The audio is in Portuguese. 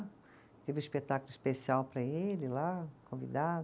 Teve um espetáculo especial para ele lá, convidado.